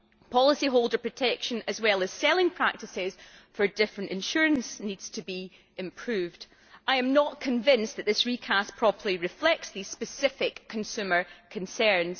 Policyholder protection, as well as selling practices for different kinds of insurance, need to be improved. I am not convinced that this recast properly reflects these specific consumer concerns.